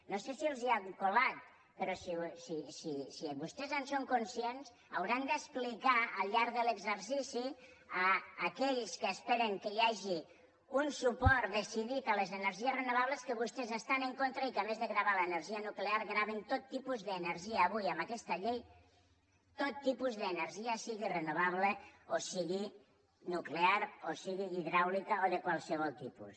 no sé si els ho han colat però si vostès en són conscients hauran d’explicar al llarg de l’exercici a aquells que esperen que hi hagi un suport decidit a les energies renovables que vostès hi estan en contra i que a més de gravar l’energia nuclear graven tot tipus d’energia avui amb aquesta llei tot tipus d’energia sigui renovable o sigui nuclear o sigui hidràulica o de qualsevol tipus